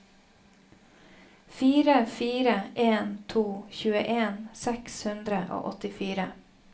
fire fire en to tjueen seks hundre og åttifire